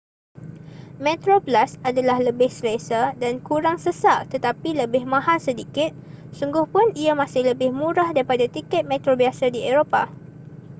metroplus adalah lebih selesa dan kurang sesak tetapi lebih mahal sedikit sungguhpun ia masih lebih murah daripada tiket metro biasa di eropah